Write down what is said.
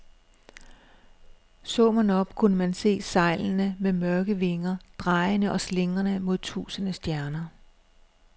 Så man op, kunne man se sejlene som mørke vinger, drejende og slingrende mod tusinde stjerner.